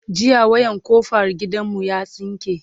jiya wayan kofar gidan mu ya tsinke